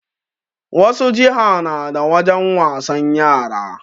Wasu jiha na da wajen wasan yara